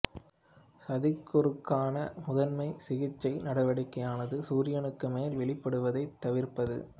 சதிர்க்குருக்கான முதன்மை சிகிச்சை நடவடிக்கையானது சூரியனுக்கு மேலும் வெளிப்படுவதைத் தவிர்ப்பது